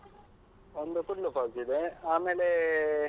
ಒಂದು ಕೂಡ್ಲು falls ಇದೆ, ಆಮೇಲೆ.